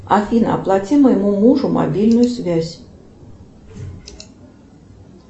афина оплати моему мужу мобильную связь